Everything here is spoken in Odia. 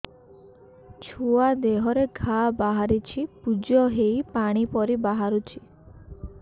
ଛୁଆ ଦେହରେ ଘା ବାହାରିଛି ପୁଜ ହେଇ ପାଣି ପରି ବାହାରୁଚି